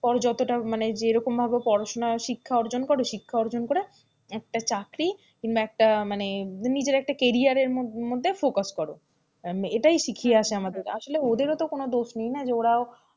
যতটা মানে যেরকম ভাবে পড়াশোনা শিক্ষা অর্জন করো শিক্ষা অর্জন করে, একটা চাকরি কিংবা একটা মানে নিজের একটা carrier রের মধ্যে focus করো, এটাই শিখিয়ে আসে আমাদের আসলে ওদেরও তো কোন দোষ নেই না ওরাও,